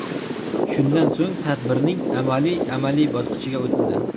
Shundan so‘ng tadbirning amaliy amaliy bosqichiga o‘tildi.